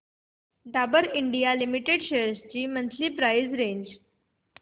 Dabur India limited shares ची monthly price range